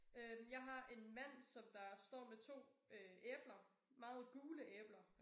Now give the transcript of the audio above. Øh jeg har en mand som der står med 2 øh æbler meget gule æbler